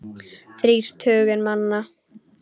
Þrír tugir manna.